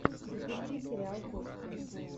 запусти сериал кости